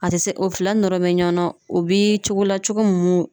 A tɛ se o fila nɔrɔ bɛ ɲɔgɔn na o bi cogo la cogo mun